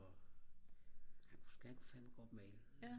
han kunne fandme godt male